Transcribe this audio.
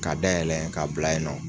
K'a da yɛlɛ k'a bila yɛ nɔ